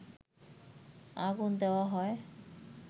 আগুন দেয়া হয়